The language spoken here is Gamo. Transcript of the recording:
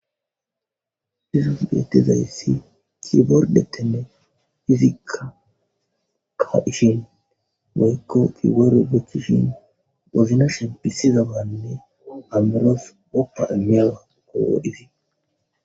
hizos beetezayssi kibordetene izikka ka7ishin gayykko kigaru gechishin gofinashon pisizabaanne amiros qopa imiyawa gogo hizi